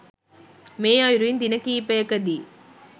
මේ අයුරින් දින කීපයකදී